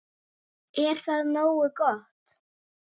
Er það nógu gott?